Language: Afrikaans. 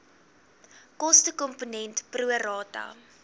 kostekomponent pro rata